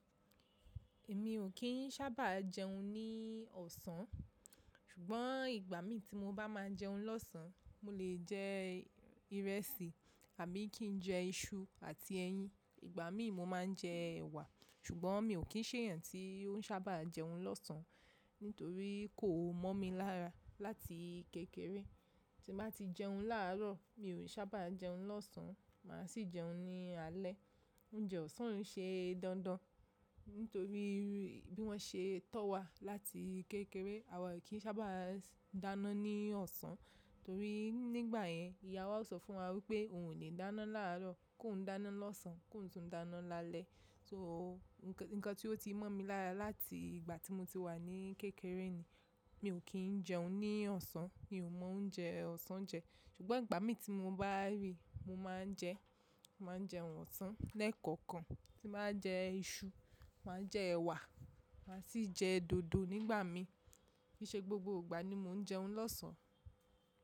Èmi ò kí ń sábà jẹun ní ọ̀sán, ṣùgbọ́n ìgbà mí tí mo bá máa jẹun lọ́sàn, mo lè jẹ ìrẹsì àbi kí n jẹ iṣu àti ẹyin. Ìgbà mí mo máa ń jẹ ẹ̀wà, ṣùgbọ́n mi ò kí ń ṣe èèyàn tí ó sábà jẹun lọ́sán torí kò mọ̀ mí lára láti kékeré. Tí bá ti jẹun láàárọ̀, mi ò ṣábà jẹun lọ́sán, màá sì jẹun ní alẹ́. Oúnjẹ ọ̀sán ò ṣe dandan torí bí wọ́n ṣe tọ wa láti kékeré, àwa kìí sábà dáná ní ọ̀sán torí nígbà yẹn, ìyá wa ó sọ fún wa wípé òun lè dáná láàárọ̀, kòún dáná lọ́sán, kòún tún dáná lálẹ́. So, nǹkan tí ó ti mọ̀ mí lára láti ìgbà tí mo ti wà ní kékeré ni, mi ò kí ń jẹun ní ọ̀sán, mi ò mọ oúnjẹ ọ̀sán jẹ ṣùgbọ́n ìgbà mí tí mo bá rí, mo máa ń jẹun, màá jẹun ọ̀sán lẹ́ẹ̀kọ̀kan. Ti màá jẹ iṣu, màá jẹ ẹ̀wà, màá sì jẹ dòdò nígbà mí. Kì lí ṣe gbogbo ìgbà ni mo ń jẹun lọ́sán.